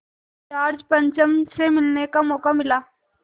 George पंचम से मिलने का मौक़ा मिला